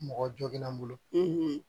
Mɔgɔ joginna n bolo